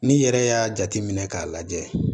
N'i yɛrɛ y'a jateminɛ k'a lajɛ